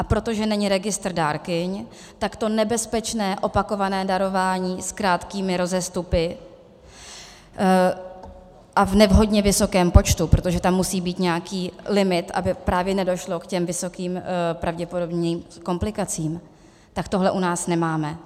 A protože není registr dárkyň, tak to nebezpečné opakované darování s krátkými rozestupy a v nevhodně vysokém počtu, protože tam musí být nějaký limit, aby právě nedošlo k těm vysoce pravděpodobným komplikacím, tak tohle u nás nemáme.